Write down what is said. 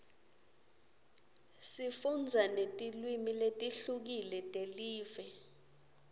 sifundza netilwimi letihlukile telive